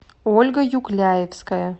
ольга юкляевская